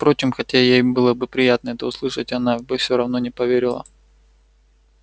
впрочем хотя ей было бы приятно это услышать она бы все равно не поверила